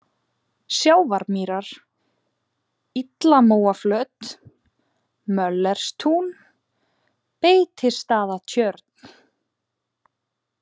Sjávarmýrar, Illamóaflöt, Möllerstún, Beitistaðatjörn